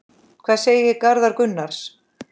Hvað segir Garðar Gunnar?